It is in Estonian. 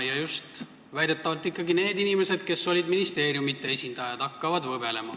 Väidetavalt hakkasid võbelema ikkagi need inimesed, kes olid ministeeriumite esindajad.